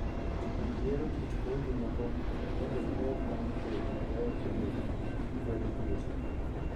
Jopur yiero kit kodhi moko mondo gimed nyago kodhi mabeyo kendo ma kwedo tuoche.